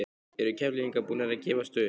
Eru Keflvíkingar búnir að gefast upp?